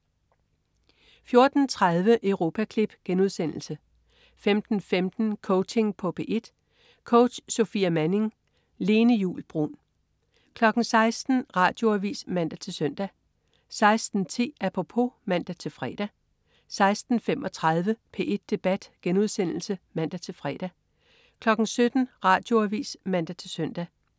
14.30 Europaklip* 15.15 Coaching på P1. Coach: Sofia Manning. Lene Juul Bruun 16.00 Radioavis (man-søn) 16.10 Apropos (man-fre) 16.35 P1 Debat* (man-fre) 17.00 Radioavis (man-søn)